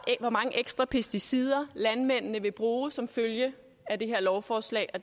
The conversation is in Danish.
hvor mange ekstra pesticider landmændene vil bruge som følge af det her lovforslag og